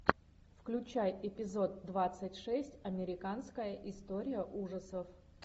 включай эпизод двадцать шесть американская история ужасов